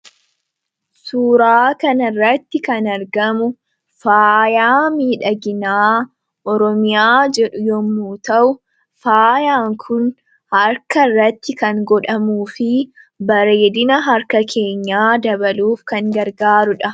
Suuraa kanarratti kan argamu, faayaa miidhaginaa Oromiyaa jedhu yommuu ta'u, faayaan kun harkarratti kan godhamuufi bareedina harka keenyaa dabaluuf kan gargaaruudha.